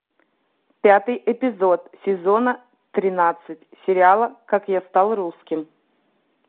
пятый эпизод сезона тринадцать сериала как я стал русским